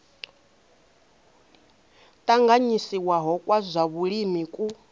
tanganyisiwaho kwa zwa vhulimi ku